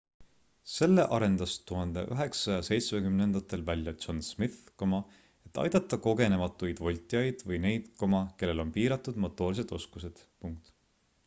selle arendas 1970ndatel välja john smith et aidata kogenematuid voltijaid või neid kellel on piiratud motoorsed oskused